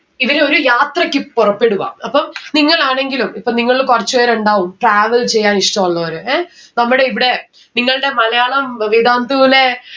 ഇവരെ ഒരു യാത്രക്ക് പൊറപ്പെടുവാ അപ്പം നിങ്ങളാണെങ്കിലും ഇപ്പൊ നിങ്ങളില് കൊറച്ച് പേര് ഇണ്ടാവും travel ചെയ്യാൻ ഇഷ്ടുള്ളവര് അഹ് നമ്മടെ ഇവിടെ നിങ്ങൾടെ മലയാളം വിതാന്തുവിലെ